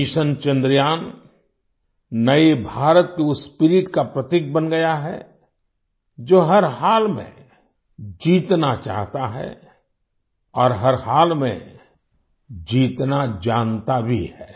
mission Chandrayaan नए भारत की उस स्पिरिट का प्रतीक बन गया है जो हर हाल में जीतना चाहता है और हर हाल में जीतना जानता भी है